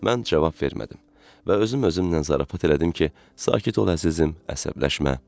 Mən cavab vermədim və özüm özümlə zarafat elədim ki, sakit ol əzizim, əsəbləşmə.